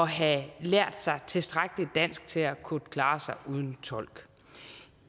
have lært sig tilstrækkelig dansk til at kunne klare sig uden tolk